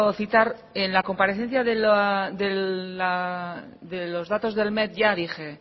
citar en la comparecencia de los datos del met ya dije